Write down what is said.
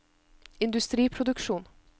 industriproduksjon